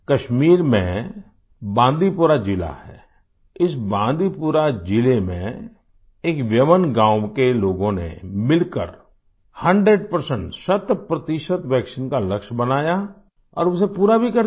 कश्मीर में बांदीपुरा ज़िला है इस बांदीपुरा ज़िले में एक व्यवनWeyanगाँव के लोगों ने मिलकर 100 शत प्रतिशत वैक्सीन का लक्ष्य बनाया और उसे पूरा भी कर दिया